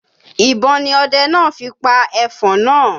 Ìbọn ni ọdẹ náà fi pa ẹfọ̀n náà.